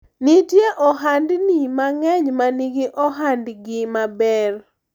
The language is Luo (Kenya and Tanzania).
nitie ohandni mang'eny manigi ohandgi maber